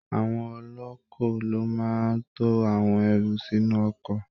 Àwọn ọlọ́ọ́kọ ló máa ń to àwọn èrò sinú ọkọ̀